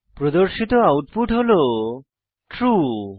প্রদর্শিত আউটপুট হল ট্রু